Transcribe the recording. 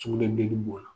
Sugunɛbilenni b'o la